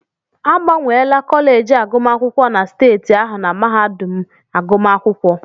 Agbanwela kọleji agụmakwụkwọ na steeti ahụ na mahadum agụmakwụkwọ.